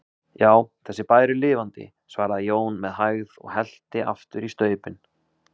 Já, þessi bær er lifandi, svaraði Jón með hægð og hellti aftur í staupin.